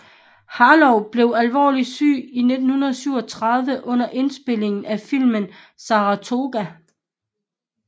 Harlow blev alvorligt syg i 1937 under indspilningen af filmen Saratoga